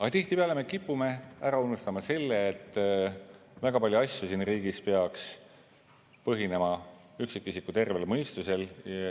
Aga tihtipeale me kipume ära unustama selle, et väga paljud asjad siin riigis peaks põhinema üksikisiku tervel mõistusel.